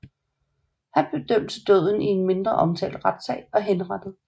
Han blev dømt til døden i en mindre omtalt retssag og henrettet